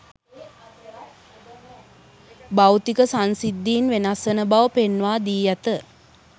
භෞතික සංසිද්ධීන් වෙනස් වන බව පෙන්වා දී ඇත